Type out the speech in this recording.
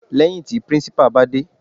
Lẹ́hìn tí principal bá dé.